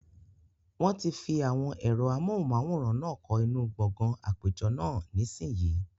Wọ́n ti fi àwọn ẹ̀rọ amóhùnmáwòrán náà kọ́ inú gbọgán àpéjọ náà, nísìínyi